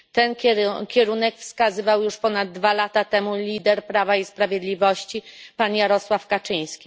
Ten kierunek wskazywał już ponad dwa lata temu lider Prawa i Sprawiedliwości, pan Jarosław Kaczyński.